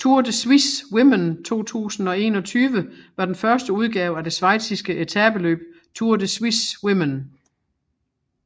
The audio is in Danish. Tour de Suisse Women 2021 var den første udgave af det schweiziske etapeløb Tour de Suisse Women